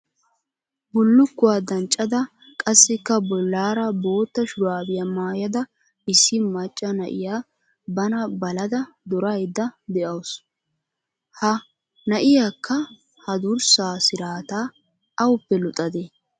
bullukuwa danccada qassikka bollaara boota shurabiyaa maayada issi macca na'iya bana balada duraydda de'awus. ha na'iyaakka ha durssa siraata awuppe luxadee?